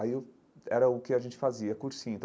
Aí eu era o que a gente fazia, cursinho.